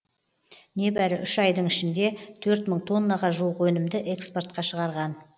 небәрі үш айдың ішінде төрт мың тоннаға жуық өнімді экспортқа шығарған